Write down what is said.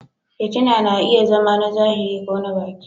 fitina na iya zama na zahiri ko na baki.